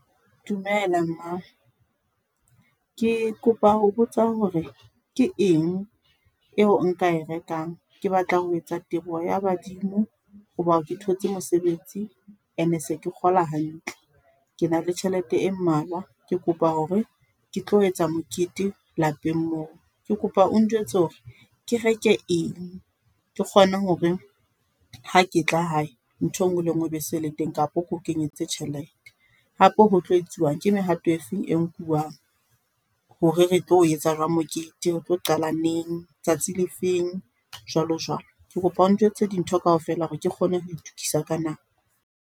Dumela mma, ke kopa ho botsa hore ke eng eo nka e rekang ke batla ho etsa teboho ya badimo ho ba ke thotse mosebetsi ene se ke kgola hantle, ke na le tjhelete e mmalwa ke kopa ho re ke tlo etsa mokete lapeng moo. Ke kopa o njwetse hore ke reke eng, ke kgone hore ha ke tla hae ntho e ngwe le ngwe e be se le teng kapo keo kenyetse tjhelete. Hape ho tlo etsiwang ke mehato e feng e nkuwang hore re tlo o etsa jwang mokete, retlo qala neng tsatsi le feng jwalo jwalo, ke kopa o njwetse dintho kaofela hore ke kgone ho itukisa ka nako.